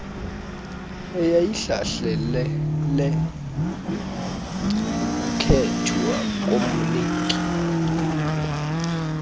eyayihlalele ukukhethwa komniki